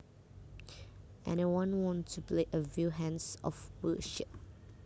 Anyone want to play a few hands of bullshit